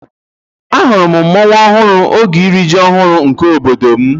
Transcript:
Ahụrụ m mmọnwụ ọhụrụ oge iri ji ọhụrụ nke obodo m.